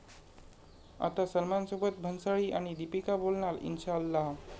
आता सलमानसोबत भन्साळी आणि दीपिका बोलणार 'इन्शाअल्लाह'